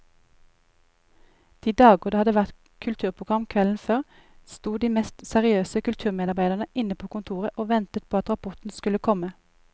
De dager det hadde vært kulturprogram kvelden før, sto de mest seriøse kulturmedarbeidere inne på kontoret og ventet på at rapporten skulle komme.